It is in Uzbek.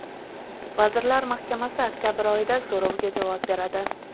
Vazirlar Mahkamasi oktabr oyida so‘rovga javob beradi.